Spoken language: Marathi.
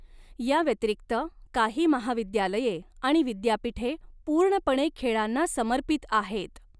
याव्यतिरिक्त, काही महाविद्यालये आणि विद्यापीठे पूर्णपणे खेळांना समर्पित आहेत.